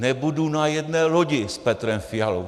Nebudu na jedné lodi s Petrem Fialou.